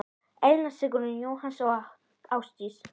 Elna Sigrún, Jóhanna og Ásdís.